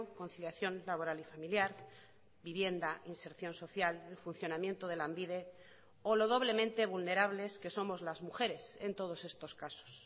conciliación laboral y familiar vivienda inserción social el funcionamiento de lanbide o lo doblemente vulnerables que somos las mujeres en todos estos casos